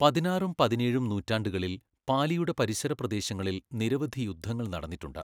പതിനാറും പതിനേഴും നൂറ്റാണ്ടുകളിൽ പാലിയുടെ പരിസര പ്രദേശങ്ങളിൽ നിരവധി യുദ്ധങ്ങൾ നടന്നിട്ടുണ്ട്.